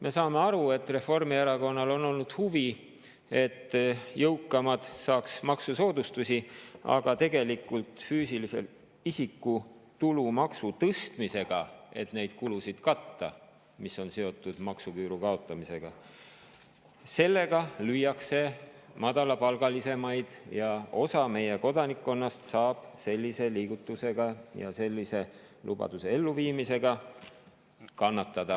Me saame aru, et Reformierakonnal on olnud huvi, et jõukamad saaksid maksusoodustusi, aga füüsilise isiku tulumaksu tõstmisega – et katta neid kulusid, mis on seotud maksuküüru kaotamisega – lüüakse tegelikult madalamapalgalisi ja osa meie kodanikkonnast saab sellise liigutuse ja sellise lubaduse elluviimise tõttu kannatada.